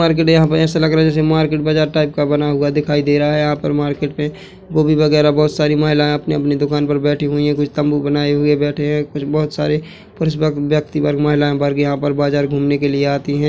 Market यहाँ पे ऐसा लग रहा है जैसे मार्केट बाजार टाइप का बना हुआ दिखाई दे रहा है यहाँ पर मार्केट में गोभी वगेरा बहोत सारी महिलाएं अपनी अपनी दुकान पर बैठी हुई है कुछ तम्बू बनाई हुई बैठी है कुछ बहोत सारे पुरुष व व्यक्ति वर्ग महिलाए वर्ग यहाँ पर बाजार घूमने के लिए आती है।